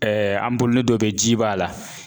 an dɔ bɛ yen ji b'a la.